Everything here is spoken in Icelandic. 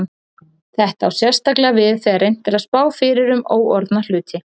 Þetta á sérstaklega við þegar reynt er að spá fyrir um óorðna hluti.